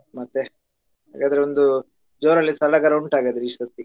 ಮತ್ತೆ ಹಾಗಾದ್ರೆ ಒಂದು ಜೋರಾಗಿ ಸಡಗರ ಉಂಟು ಹಾಗಾದ್ರೆ ಈ ಸರ್ತಿ?